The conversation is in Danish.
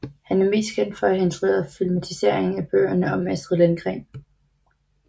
Han er mest kendt for at have instrueret filmatiseringen af bøgerne om Astrid Lindgren